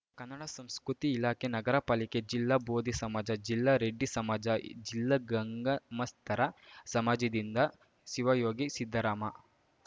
ಕನ್ನಡ ಸಂಸ್ಕೃತಿ ಇಲಾಖೆ ನಗರ ಪಾಲಿಕೆ ಜಿಲ್ಲಾ ಭೋದಿ ಸಮಾಜ ಜಿಲ್ಲಾ ರೆಡ್ಡಿ ಸಮಾಜ ಜಿಲ್ಲಾ ಗಂಗಾಮಸ್ಥರ ಸಮಾಜದಿಂದ ಶಿವಯೋಗಿ ಸಿದ್ದರಾಮ